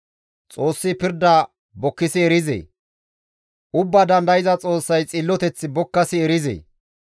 Xoossi pirda bokkasi erizee? Ubbaa Dandayza Xoossay xilloteth bokkasi erizee?